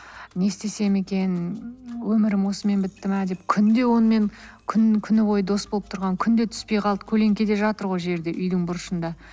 не істесем екен өмірім осымен бітті ме деп күн де онымен күні бойы дос болып тұрған күн де түспей қалды көлеңкеде жатыр ғой жерде үйдің бұрышында